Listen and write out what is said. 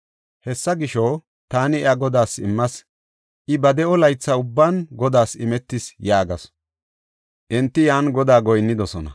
Hessa gisho, taani iya Godaas immas; I ba de7o laytha ubban Godaas imetis” yaagasu. Enti yan Godaa goyinnidosona.